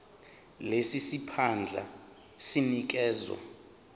lesi siphandla sinikezwa